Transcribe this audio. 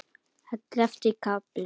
Ellefti kafli